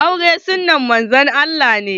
Aure sunnan Manzon Allah ne.